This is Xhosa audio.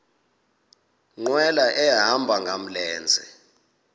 nkqwala ehamba ngamlenze